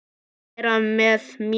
Vera með mér?